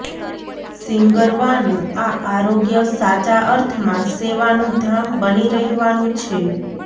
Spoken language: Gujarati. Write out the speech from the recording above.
સીંગરવાનુ આ આરોગ્ય સાચા અર્થમાં સેવાનું ધામ બની રહેવાનું છે